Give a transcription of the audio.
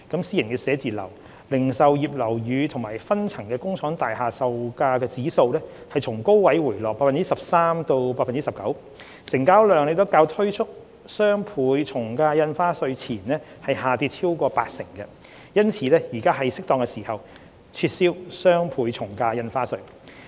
私人寫字樓、零售業樓宇及分層工廠大廈售價指數從高位回落 13% 至 19%； 成交量亦較推出雙倍從價印花稅前下跌超過八成，因此，現時是適當時候撤銷雙倍從價印花稅。